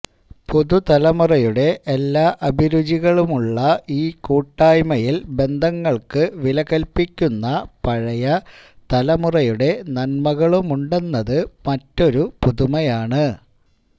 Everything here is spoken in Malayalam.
പുതുതലമുറയുടെ എല്ലാ അഭിരുചികളുമുള്ള ഈ കൂട്ടായ്മയിൽ ബന്ധങ്ങൾക്ക് വില കൽപ്പിക്കുന്ന പഴയ തലമുറയുടെ നന്മകളുമുണ്ടെന്നത് മറ്റൊരു പുതുമയാണ്